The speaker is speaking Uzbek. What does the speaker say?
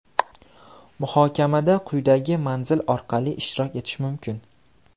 Muhokamada quyidagi manzil orqali ishtirok etish mumkin.